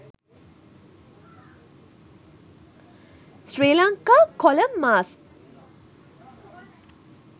sri lanka kolam masks